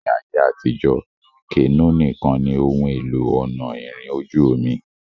Ni ayé àtijọ́, kenó nìkan ni ohun èlò ọ̀nà ìrìn ojú-omi